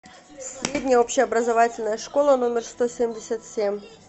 средняя общеобразовательная школа номер сто семьдесят семь